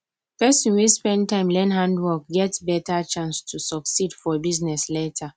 person wey spend time learn handwork get better chance to succeed for business later